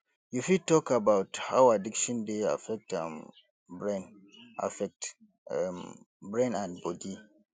you fit talk about how addiction dey affect um brain affect um brain and body